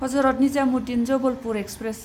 Hazrat Nizamuddin Jabalpur express